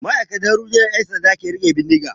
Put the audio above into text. Ma'aikatan rundunar 'yan sanda na riƙe bindiga.